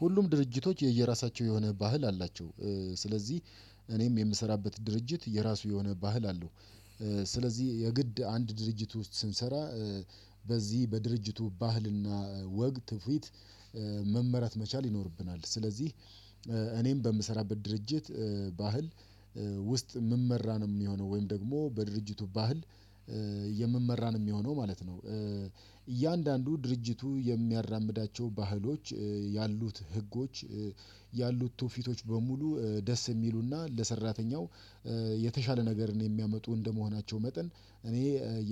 ሁሉም ድርጅቶች የየራሳቸው የሆነ ባህል አላቸው ስለዚህ እኔም የምሰራበት ድርጅት የራሱ የሆነ ባህል አለው። ስለዚህ የግድ አንድ ድርጅት ውስጥ ስንሰራ በዚህ በድርጅቱ ባህልና ወግ ትውፊት መመራት መቻል ይኖርብናል። ስለዚህ እኔም በምሰራበት ድርጅት ባህል ውስጥ የምመራ ነው የሚሆነው ወይም ደግሞ በድርጅቱ ባህል የምመራ የሚሆነው ማለት ነው። እያንዳንዱ ድርጅቱ የሚያራምዳቸው ባህሎች ያሉት ህጎች ያሉት ቱፊቶች በሙሉ ደስ የሚሉና ለሰራተኛው የተሻለ ነገር ነው የሚያመጡ እንደመሆናቸው መጠን እኔ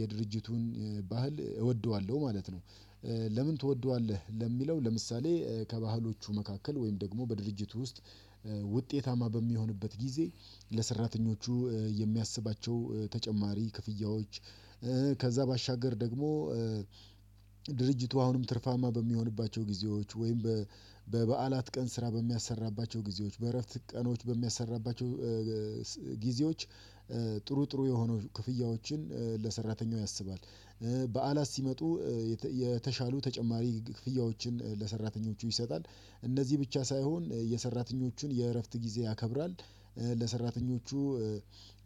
የድርጅቱን ባህል እወደዋለሁ ማለት ነው። ለምን ትወደዋለህ? ለሚለው ለምሳሌ ከባህሎቹ መካከል ወይም ደግሞ በድርጅቱ ውስጥ ውጤታማ በሚሆንበት ጊዜ ለሰራተኞቹ የሚያስባቸው ተጨማሪ ክፍያዎች ከዛ ባሻገር ደግሞ ድርጅቱ አሁንም ትርፋማ በሚሆንባቸው ጊዜዎች ወይም በበዓላት ቀን ስራ በሚያሰራባቸው ጊዜዎች በእረፍት ቀኖች በሚያሰራባቸው ጊዜዎች ጥሩ ጥሩ የሆኑ ክፍያዎችን ለሰራተኛው ያስባል። በዓላት ሲመጡ የተሻሉ ተጨማሪ ክፍያዎችን ለሰራተኞቹ ይሰጣል። እነዚህ ብቻ ሳይሆን የሰራተኞቹን የእረፍት ጊዜ ያከብራል ለሰራተኞቹ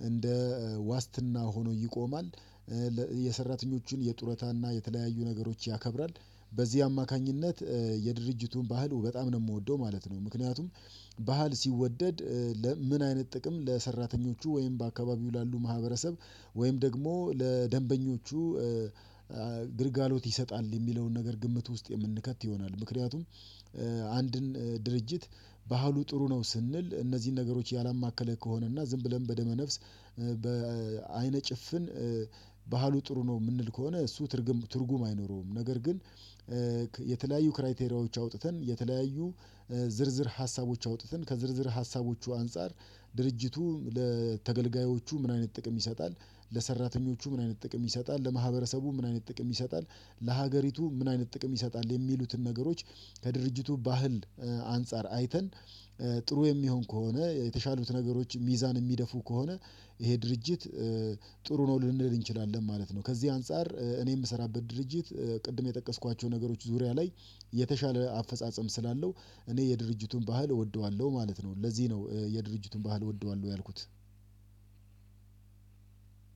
እንደ ዋስትና ሆኖ ይቆማል። የሰራተኞችን የጡረታና የተለያዩ ነገሮች ያከብራል። በዚህ አማካኝነት የድርጅቱን ባህሉ በጣም ነው የምወደው ማለት ነው። ምክንያቱም ባህል ሲወደድ ምን አይነት ጥቅም ለሰራተኞቹ ወይም በአካባቢው ላሉ ማህበረሰብ ወይም ደግሞ ለደንበኞቹ ግልጋሎት ይሰጣል የሚለውን ነገር ግምት ውስጥ የምንከት ይሆናል። ምክንያቱም አንድን ድርጅት ባህሉ ጥሩ ነው ስንል እነዚህን ነገሮች ያላማከለ ከሆነ እና ዝም ብለን በደመ ነፍስ በአይነ ጭፍን ባህሉ ጥሩ ነው የምንል ከሆነ እሱ ትርጉም ትርጉም አይኖረውም። ነገር ግን የተለያዩ ክራይቴሪያዎች አውጥተን የተለያዩ ዝርዝር ሀሳቦች አውጥተን ከዝርዝር ሀሳቦቹ አንፃር ድርጅቱ ለተገልጋዮቹ ምን አይነት ጥቅም ይሰጣል ለሰራተኞቹ ምን አይነት ጥቅም ይሰጣል? ለማህበረሰቡ ምን አይነት ጥቅም ይሰጣል? ለሀገሪቱ ምን አይነት ጥቅም ይሰጣል? የሚሉትን ነገሮች ከድርጅቱ ባህል አንፃር አይተን ጥሩ የሚሆን ከሆነ የተሻሉት ነገሮች ሚዛን የሚደፉ ከሆነ ይሄ ድርጅት ጥሩ ነው ልንለድ እንችላለን ማለት ነው። ከዚህ አንፃር እኔ የምሰራበት ድርጅት ቅድም የጠቀስኳቸው ነገሮች ዙሪያ ላይ የተሻለ አፈጻጸም ስላለው እኔ የድርጅቱን ባህል እወደዋለሁ ማለት ነው። ለዚህ ነው የድርጅቱን ባህል እወደዋለሁ ያልኩት።